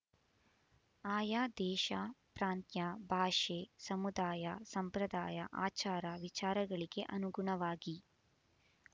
ಆಯಾ ದೇಶ ಪ್ರಾಂತ್ಯ ಭಾಷೆ ಸಮುದಾಯ ಸಂಪ್ರದಾಯ ಆಚಾರ ವಿಚಾರಗಳಿಗೆ ಅನುಗುಣವಾಗಿ